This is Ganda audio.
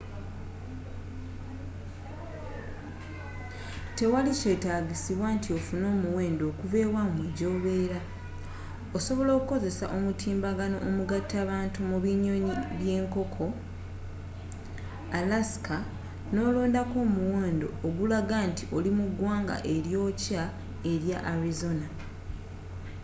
tewali kyetaagisibwa nti offune omuwendo okuva ewamwe gyobera osobola okukozesa omutimbagano omugatta bantu mu binyonyi byenkoko alaska n'olondako omuwendo ogulaga nti oli mu ggwanga eryokya erya arizona